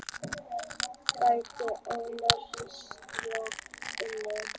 Gæti ógnað ríkisstjórninni